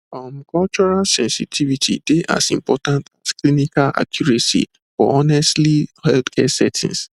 um cultural sensitivity dey as important as clinical accuracy for honestly healthcare settings